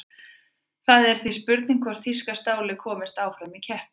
Það er því spurning hvort þýska stálið komist áfram í keppninni?